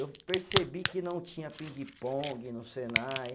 Eu percebi que não tinha pingue-pongue no Senai.